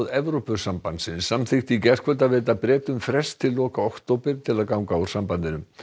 Evrópusambandsins samþykkti í gærkvöld að veita Bretum frest til loka október til að ganga úr sambandinu